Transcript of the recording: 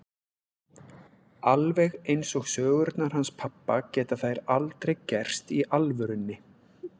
Alveg eins og sögurnar hans pabba geta þær aldrei gerst í alvörunni.